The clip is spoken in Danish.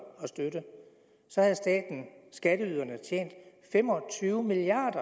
og støtte havde staten skatteyderne tjent fem og tyve milliard